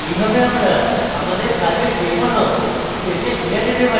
এইভাবে আমরা আমাদের কাজের যে কোনো stage ফিরে যেতে পারি